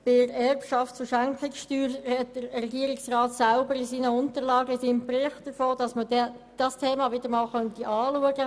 Was die Erbschafts- und Schenkungssteuer betrifft, spricht der Regierungsrat selber in seinen Unterlagen davon, dass man dieses Thema wieder einmal anschauen könnte.